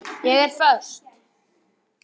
Ég er föst.